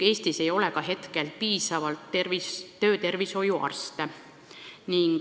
Eestis ei ole hetkel piisavalt töötervishoiuarste.